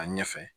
A ɲɛ fɛ